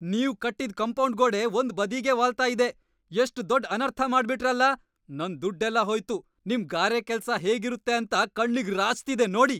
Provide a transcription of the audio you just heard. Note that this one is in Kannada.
ನೀವ್ ಕಟ್ಟಿದ್ ಕಾಂಪೌಂಡ್ ಗೋಡೆ ಒಂದ್ ಬದಿಗೇ ವಾಲ್ತಾ ಇದೆ, ‌ಎಷ್ಟ್ ದೊಡ್ ಅನರ್ಥ ಮಾಡ್ಬಿಟ್ರಲ್ಲ! ನನ್ ದುಡ್ಡೆಲ್ಲ ಹೋಯ್ತು, ನಿಮ್ ಗಾರೆ ಕೆಲ್ಸ ಹೇಗಿರುತ್ತೆ ಅಂತ ಕಣ್ಣಿಗ್‌ ರಾಚ್ತಿದೆ ನೋಡಿ.